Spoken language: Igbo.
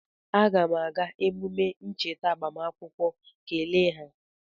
Aga m aga emume ncheta agbamakwụkwọ kele ha